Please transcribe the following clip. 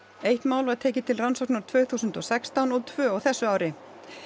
eitt mál var tekið til rannsóknar tvö þúsund og sextán og tvö á þessu ári